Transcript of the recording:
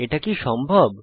এটা কি সম্ভব